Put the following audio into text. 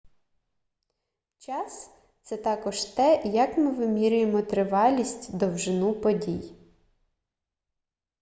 час — це також те як ми вимірюємо тривалість довжину подій